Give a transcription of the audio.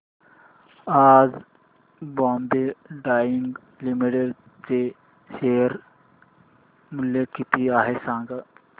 आज Bombay Dyeing Limited चे share मूल्य किती आहे सांगा